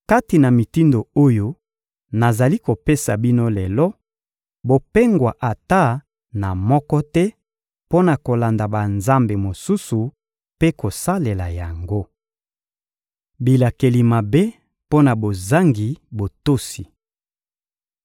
Kati na mitindo oyo nazali kopesa bino lelo, bopengwa ata na moko te, mpo na kolanda banzambe mosusu mpe kosalela yango. Bilakeli mabe mpo na bozangi botosi